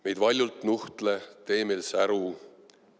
Meid valjult nuhtle, tee meil säru!